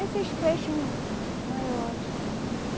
Esses peixes maiores.